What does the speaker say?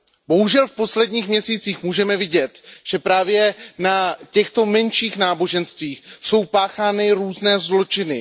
Bohužel v posledních měsících můžeme vidět, že právě na těchto menších náboženstvích jsou páchány různé zločiny.